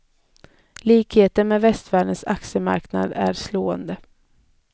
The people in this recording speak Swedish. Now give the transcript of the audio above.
Likheten med västvärldens aktiemarknaden är slående.